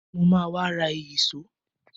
Mo ma wá ra ìyíṣòó.